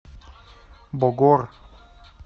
богор